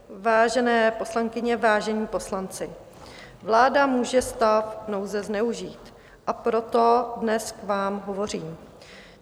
Vážené poslankyně, vážení poslanci, vláda může stav nouze zneužívat, a proto dnes k vám hovořím.